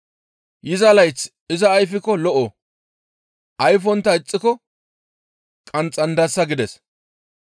Yiza layththas iza ayfikko lo7o; ayfontta ixxiko qanxxandasa› » gides.